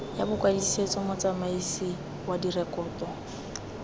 ya bokwadisetso motsamaisi wa direkoto